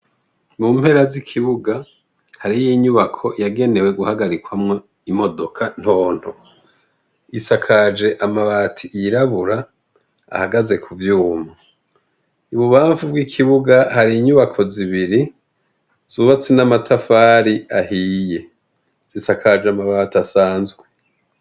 Mu mpera z'ikibuga hari y'inyubako yagenewe guhagarikwamo imodoka ntonto isakaje amabati yirabura ahagaze ku vyuma ibubamvu bw'ikibuga hari inyubako zibiri zubatse n'amatafari ahiye zisakaje amabati asanzwe.